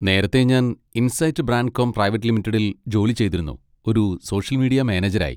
നേരത്തെ ഞാൻ insight Brandcom private ലിമിറ്റഡിൽ ജോലി ചെയ്തിരുന്നു ഒരു സോഷ്യൽ മീഡിയ മാനേജരായി.